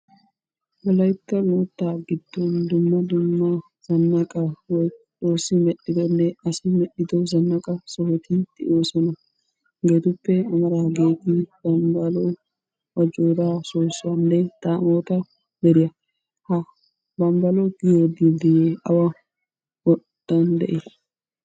Wolaytta moottaa giddon dumma dumma zanaqqa woykko Xoossi medhdhiddonne asi medhdhiddo zanaqqa sohoti de'oosona. Hageetuppe amaridaageeti gonggoluwa, ajjooraa soossuwanne daammoota deriya , ha gonggoluwa giyogee awa moottan deii?